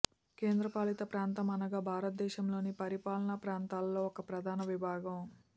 కేంద్రపాలిత ప్రాంతం అనగా భారతదేశం లోని పరిపాలన ప్రాంతాలలో ఒక ప్రధాన విభాగం